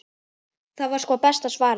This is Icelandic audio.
Það var sko besta svarið.